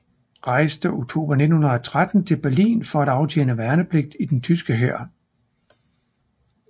Rejste oktober 1913 til Berlin for at aftjene værnepligt i den tyske hær